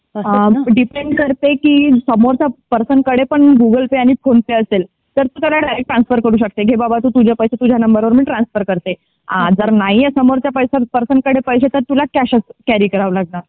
Depend करते की सोमवारचा पर्सन कडे पण गुगल पे फोन पे असेल. तर तू सरळ ट्रान्सफर करू शकते घे बाबा तू तुझे पैसे तुझा नंबर वर मी ट्रान्सफर करते. जर नाही आहे समोरच्या जर नाहीये समोरच्या पर्सन कडे पैसे तर तुला कॅश कॅरी करावं लागणार.